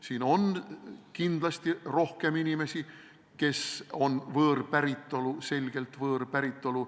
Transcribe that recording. Siin on kindlasti rohkem inimesi, kes on selgelt võõrpäritolu.